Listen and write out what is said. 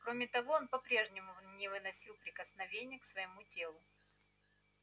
кроме того он по прежнему не выносил прикосновения к своему телу